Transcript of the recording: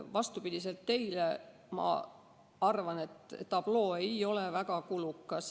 Vastupidi teile arvan mina, et tabloo ei ole väga kulukas.